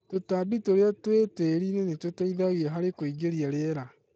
tũtambi tũria twĩ tĩri-inĩ nĩtũteithangĩrĩria harĩ kũigĩrĩa rĩera